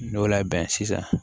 N'i y'o labɛn sisan